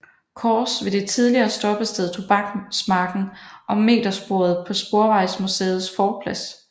Course ved det tidligere stoppested Tobaksmarken og metersporet på Sporvejsmuseets forplads